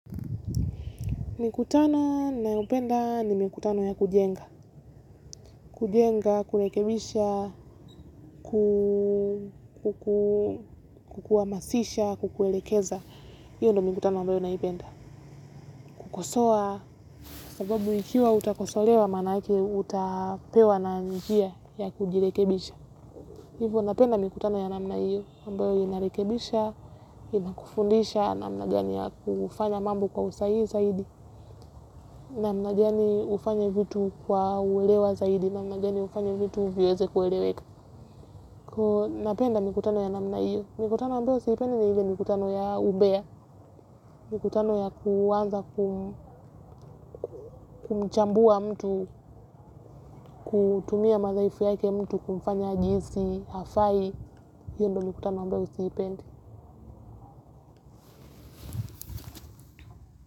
Mikutano ninayopenda ni mikutano ya kujenga. Kujenga, kurekebisha, kukuhamasisha, kukuelekeza. Hiyo ndio mikutano ambayo naipenda. Kukosoa, sababu ikiwa utakosolewa maanake utapewa na njia ya kujirekebisha. Hivyo napenda mikutano ya namna hio ambayo inarekebisha inakufundisha namna gani ya kufanya mambo kwa usahihi zaidi namna gani ufanye vitu kwa uelewa zaidi namna gani ufanye vitu viweze kueleweka. Kwa hio napenda mikutano ya namna hiyo, mikutano ambayo siipendi ni ile mikutano ya umbea, mikutano ya kuanza kumchambua mtu, kutumia madhaifu yake mtu, kumfanya ajihisi hafai, hiyo ndio mikutano ambayo siipendi.